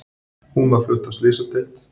Hún var flutt á slysadeild